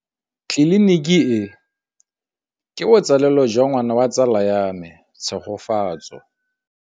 Tleliniki e, ke botsalêlô jwa ngwana wa tsala ya me Tshegofatso.